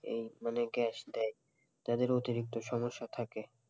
মানে গ্যাস দেয় তাদের অতিরিক্ত সমস্যা থাকে,